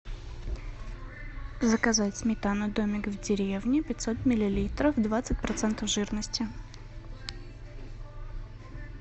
заказать сметану домик в деревне пятьсот миллилитров двадцать процентов жирности